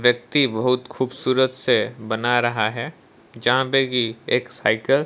व्यक्ति बहुत खूबसूरत से बना रहा है जहां पे की एक साइकिल --